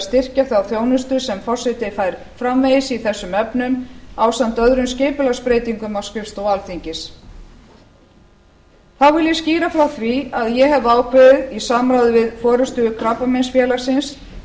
styrkja þá þjónustu sem forseti fær framvegis í þessum efnum ásamt öðrum skipulagsbreytingum á skrifstofu alþingis þá vil ég skýra frá því að ég hef ákveðið í samráði við forustu krabbameinsfélagsins